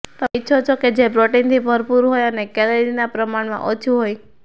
તમે ઇચ્છો છો કે જે પ્રોટીનથી ભરપૂર હોય અને કેલરીમાં પ્રમાણમાં ઓછું હોય